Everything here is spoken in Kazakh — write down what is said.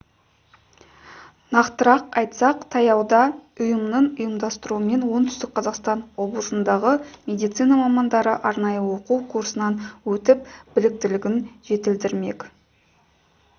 нақтырақ айтсақ таяуда ұйымының ұйымдастыруымен оңтүстік қазақстан облысындағы медицина мамандары арнайы оқу курсынан өтіп біліктілігін жетілдірмек